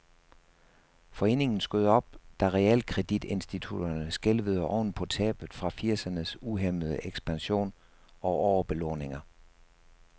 Foreningen skød op, da realkreditinstitutterne skælvede oven på tab fra firsernes uhæmmede ekspansion og overbelåninger.